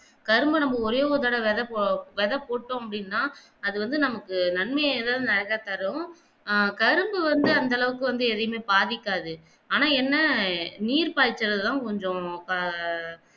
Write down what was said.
கரும்ப நம்ம ஒரே ஒரு தடவ வெத வெத போட்டோம் அப்பிடின்னா அத வந்து நமக்கு நன்மையே தான் தரும் ஆஹ் கரும்பு வந்து அந்தளவுக்கு வந்து எதையுமே பாதிக்காது ஆனா என்ன நீர் பாயிர்ச்சள்ள தான் கொஞ்சம்